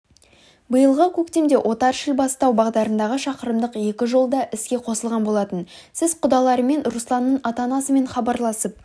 биылғы көктемде отар-шілбастау бағдарындағы шақырымдық екі жол да іске қосылған болатын сіз құдаларымен русланның ата-анасымен хабарласып